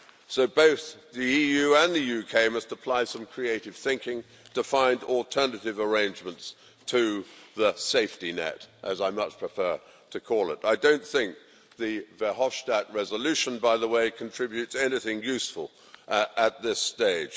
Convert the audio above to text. So both the EU and the UK must apply some creative thinking to find alternative arrangements to the safety net, as I much prefer to call it. I don't think the Verhofstadt resolution, by the way, contributes anything useful at this stage.